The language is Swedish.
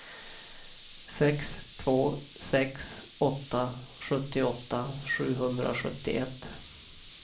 sex två sex åtta sjuttioåtta sjuhundrasjuttioett